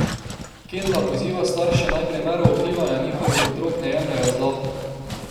Kenda poziva starše, naj primerov opivanja njihovih otrok ne jemljejo zlahka.